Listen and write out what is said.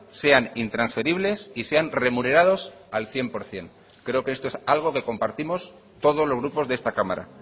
sean intransferibles y sean remunerados al cien por ciento creo que esto es algo que compartimos todos los grupos de esta cámara